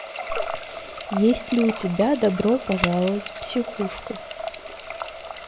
есть ли у тебя добро пожаловать в психушку